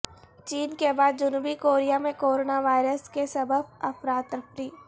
چین کے بعد جنوبی کوریا میں کورونا وائرس کے سبب افراتفری